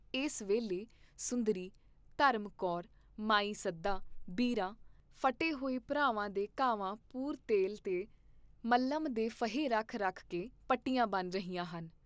ਇਸ ਵੇਲੇ ਸੁੰਦਰੀ, ਧਰਮ ਕੌਰ, ਮਾਈ ਸੱਦਾਂ, ਬੀਰ੍ਹਾਂ, ਪੇਮੈਂ ਆਦਿਕ ਸਾਰੀਆਂ ਸਿੰਘਣੀਆਂ ਫੱਟੇ ਹੋਏ ਭਰਾਵਾਂ ਦੇ ਘਾਵਾਂ ਪੁਰ ਤੇਲ ਤੇ ਮਲ੍ਹਮ ਦੇ ਫਹੇ ਰੱਖ ਰੱਖ ਕੇ ਪੱਟੀਆਂ ਬੰਨ੍ਹ ਰਹੀਆਂ ਹਨ।